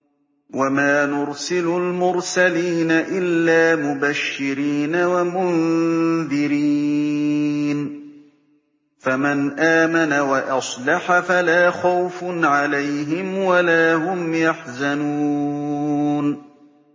وَمَا نُرْسِلُ الْمُرْسَلِينَ إِلَّا مُبَشِّرِينَ وَمُنذِرِينَ ۖ فَمَنْ آمَنَ وَأَصْلَحَ فَلَا خَوْفٌ عَلَيْهِمْ وَلَا هُمْ يَحْزَنُونَ